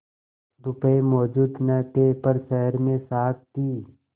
रुपये मौजूद न थे पर शहर में साख थी